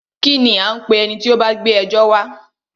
Kínní a ń pé ẹni tí o bá gbé ẹjọ́ wa?